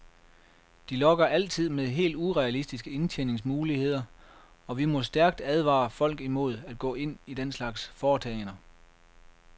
De lokker altid med helt urealistiske indtjeningsmuligheder, og vi må stærkt advare folk imod at gå ind i den slags foretagender.